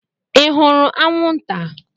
Ị hụrụ anwụnta?